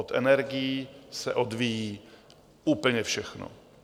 Od energií se odvíjí úplně všechno.